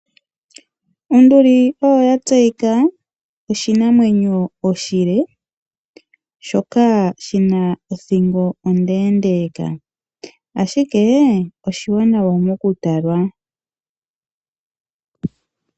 Onduli oyo ya tseyika oshinamwenyo oshile shoka shina odhingo ondendeka ashike oshiwanawa mokutalwa.